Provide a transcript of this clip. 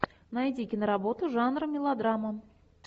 найди киноработу жанра мелодрама